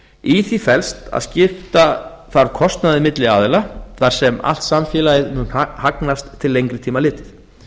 í því felst að skipta þarf kostnaði milli aðila þar sem allt samfélagið mun hagnast til lengri tíma litið